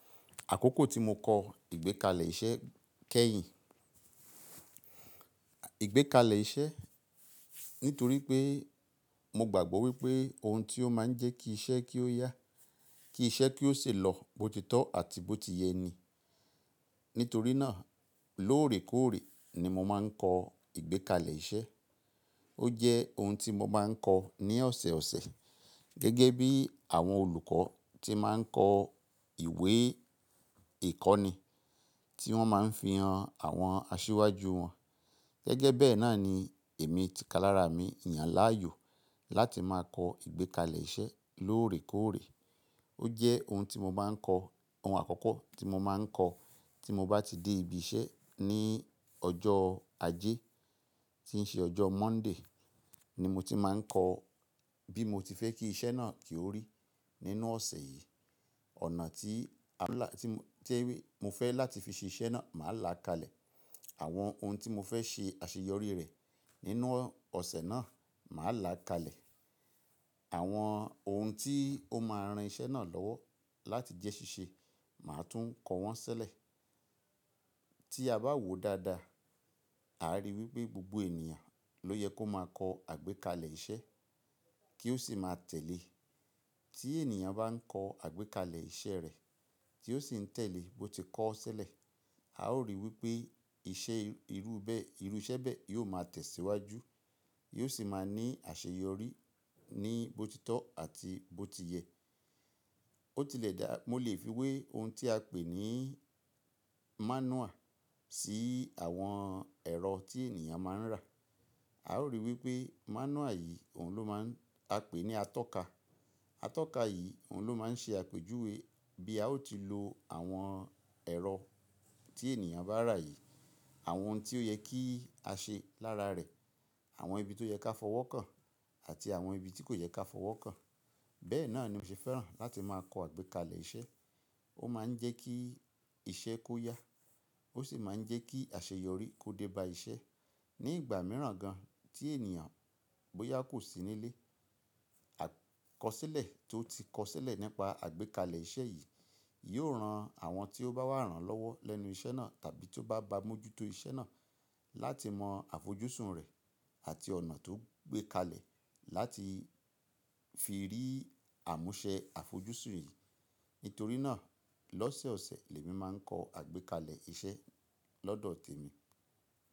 Àkókò tí mo kọ ìgbékalẹ̀ iṣẹ́ kẹ́yìn. Ìgbékalẹ̀ iṣẹ́, nítorí pé mo gbàgbọ́ wípé ohun tí ó máa ń jẹ́ kí iṣẹ́ kí ó yá, kí iṣẹ́ kí ó sì lọ botitọ́ àti bó ti yẹ ní. Nítorí náà lóòrèkóòrè ni mo máa ń kọ ìgbékalẹ̀ iṣẹ́. Ó jẹ́ ohun tí mo máa ń kọ ní ọ̀sẹ̀òsẹ̀ gẹ́gẹ́ bí àwọn olùkọ́ tí máa ń kọ ìwé ìkọ́ni tí wọ́n máa ń fi hàn àwọn asíwájú wọn. Gẹ́gẹ́ bẹ́ẹ̀ náà ni èmi ti kalara mi ìyàn láàyò láti máa kọ ìgbékalẹ̀ iṣẹ́ lóòrèkóòrè. Ó jẹ́ ohun tí mo máa ń kọ, ohun àkọ́kọ́ tí mo máa ń kọ tí mo bá ti dé ibi iṣẹ́ ní ọjọ́ ajé tí ń ṣe ọjọ́ Monday ni mo ti máa ń kọ bí mo ti fẹ́ kí iṣẹ́ náà kí ó rí nínú ọ̀sẹ̀ yìí. Ọ̀nà tí a lá, tí mo fẹ́ láti fi ṣe iṣẹ́ náà, màá là kalẹ̀. Àwọn ohun tí mo fẹ́ ṣe àṣeyọrí rẹ̀ nínú ọ̀sẹ̀ náà, màá là kalẹ̀. Àwọn ohun tí ó máa ran iṣẹ́ náà lọ́wọ́ láti jẹ́ ṣíṣe, màá tún kọ wọ́n sílẹ̀. Tí a bá wò dáadáa, àá rí wípé gbogbo ènìyàn ló yẹ kó máa kọ àgbékalẹ̀ iṣẹ́ kí ó sì máa tẹ̀lé. Tí ènìyàn bá ń kọ àgbékalẹ̀ iṣẹ́ rẹ̀ tí ó sì ń tẹ̀lé bó ti kọ ọ́ sílẹ̀, a ó rí wípé iṣẹ́ irú bẹ́, irú iṣẹ́ bẹ́ẹ̀ yóò máa tẹ̀síwájú, yóò sì máa ní àṣeyọrí ní botitọ́ àti bó ti yẹ. Ó tilẹ̀ dà, mo lè fi wé ohun tí a pè ní mánúàl sí àwọn ẹ̀rọ tí ènìyàn máa ń rà. À ó rí wipé manual yì, òun ló máa, á pé ní a tó ka atọ́ka yìí ohun ló máa ń ṣe àpèjúwe bí a ó ti lo àwọn ẹ̀rọ tí ènìyàn bá rà yìí. Àwọn òun tí ó ye kí á se lára re, àwon ibi to yé ká fò wò kan àti àwon ibi tí kò yé ká fò wò kan. Bẹ́ẹ̀ náà ni mo ṣe fẹ́ràn láti máa kọ àgbékalẹ̀ iṣẹ́. Ó máa ń jẹ́ kí iṣẹ́ kó yá, ó sì máa ń jẹ́ kí àṣeyọrí kó dé bá iṣẹ́. Ní ìgbà mìíràn gan tí ènìyàn bó yá kò sí nílé, àkọsílẹ̀ tó ti kọ sílẹ̀ nípa àgbékalẹ̀ iṣẹ́ yìí yóò ran àwọn tí ó bá wà rán lọ́wọ́ lẹ́nu iṣẹ́ náà tàbí tó bá ba mú jú tó iṣẹ́ náà láti mọ àfojúsùn rẹ̀ àti ọ̀nà tó gbé kalẹ̀ láti fi rí àmúṣẹ àfojúsùn yìí. Nítorí náà lọ́sẹ̀ọ̀sẹ̀ l'èmi máa ń kọ àgbékalẹ̀ iṣẹ́ lọ́dọ̀ tèmi.